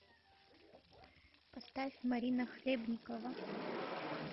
поставь марина хлебникова